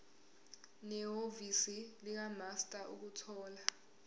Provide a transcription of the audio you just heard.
nehhovisi likamaster ukuthola